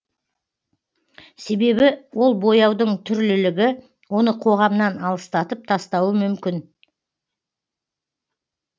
себебі ол бояудың түрлілігі оны қоғамнан алыстатып тастауы мүмкін